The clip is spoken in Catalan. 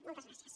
moltes gràcies